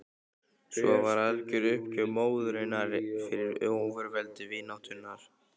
Svo algjör var uppgjöf móðurinnar fyrir ofurveldi vináttunnar.